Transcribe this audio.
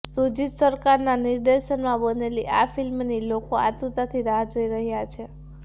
શુજીત સરકારના નિર્દેશનમાં બનેલી આ ફિલ્મની લોકો આતુરતાથી રાહ જોઈ રહ્યાં છે